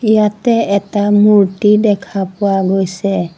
ইয়াতে এটা মূৰ্ত্তি দেখা পোৱা গৈছে।